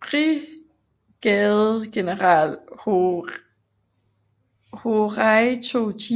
brigadegeneral Horatio G